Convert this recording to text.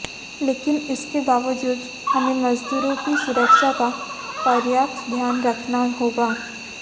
लेकिन इसके बावजूद हमें मजदूरों की सुरक्षा का पर्याप्त ध्यान रखना होगा